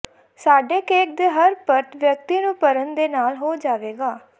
ਸਾਡੇ ਕੇਕ ਦੇ ਹਰ ਪਰਤ ਵਿਅਕਤੀ ਨੂੰ ਭਰਨ ਦੇ ਨਾਲ ਹੋ ਜਾਵੇਗਾ